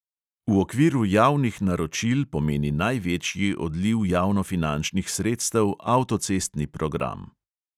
V okviru javnih naročil pomeni največji odliv javnofinančnih sredstev avtocestni program.